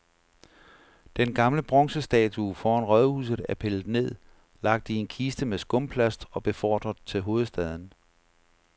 Den gamle bronzestatue foran rådhuset er pillet ned, lagt i en kiste med skumplast og befordret til hovedstaden.